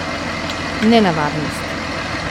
Nenavadnost.